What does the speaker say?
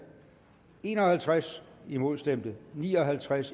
en og halvtreds imod stemte ni og halvtreds